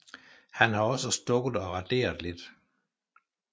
Han har også stukket og raderet lidt